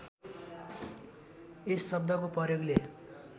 यस शब्दको प्रयोगले